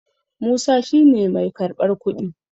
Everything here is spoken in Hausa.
Musa shi ne mai karɓar kuɗi